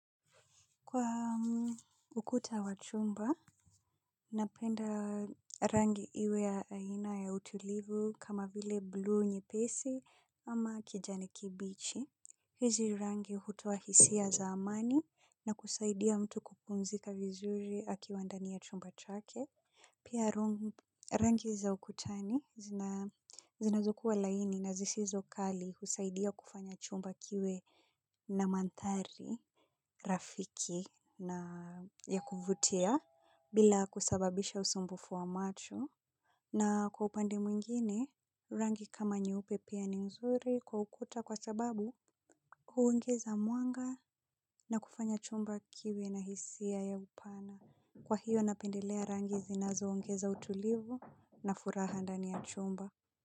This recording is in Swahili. Kwa ukuta wa chumba, napenda rangi iwe ya aina ya utulivu kama vile blue nyepesi ama kijani kibichi. Hizi rangi hutoa hisia za amani na kusaidia mtu kupumzika vizuri akiwandani ya chumba chake. Pia rangi za ukutani zinazoku wa laini na zisizo kali husaidia kufanya chumba kiwe na mandhari. Rafiki na ya kuvutia bila kusababisha usumbufu wa macho na kwa upande mwingine, rangi kama nyeupe pia ni mzuri kwa ukuta kwa sababu huongeza mwanga na kufanya chumba kiwe na hisia ya upana. Kwa hiyo napendelea rangi zinazo ongeza utulivu na furaha ndani ya chumba.